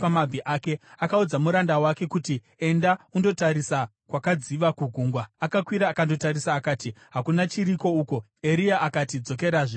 Akaudza muranda wake kuti, “Enda undotarisa kwakadziva kugungwa.” Akakwira akandotarisa. Akati, “Hakuna chiriko uku.” Eria akati, “Dzokerazve,” kanomwe.